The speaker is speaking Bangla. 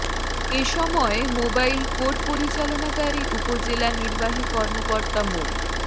এ সময় মোবাইল কোর্ট পরিচালনাকারী উপজেলা নির্বাহী কর্মকর্তা মো